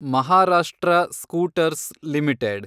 Maharashtra scooters limited